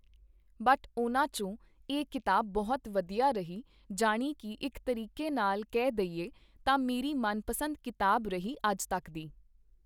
but ਉਹਨਾਂ 'ਚੋਂ ਇਹ ਕਿਤਾਬ ਬਹੁਤ ਵਧੀਆ ਰਹੀ ਜਾਣੀ ਕੀ ਇੱਕ ਤਰੀਕੇ ਨਾਲ਼ ਕਹਿ ਦਈਏ ਤਾਂ ਮੇਰੀ ਮਨਪਸੰਦ ਕਿਤਾਬ ਰਹੀ ਅੱਜ ਤੱਕ ਦੀ